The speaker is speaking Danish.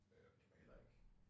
Øh men det var heller ikke